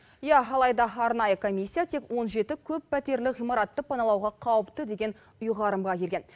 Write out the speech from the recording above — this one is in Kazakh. иә алайда арнайы комиссия тек он жеті көппәтерлі ғимаратты паналауға қауіпті деген ұйғарымға келген